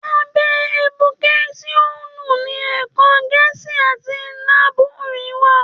Àbẹ ẹdúkẹsíonù ni Ẹkọ gẹẹsí àtí liàbúrì wà